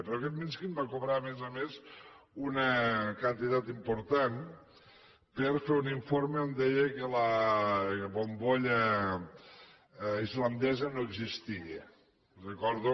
però aquest mishkin va cobrar a més a més una quantitat important per fer un informe on deia que la bombolla islandesa no existia li recordo